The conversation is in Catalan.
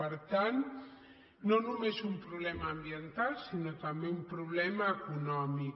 per tant no només un problema ambiental sinó també un problema econòmic